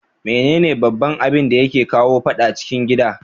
Mene ne baban abinda yake kawo fadan cikin gida?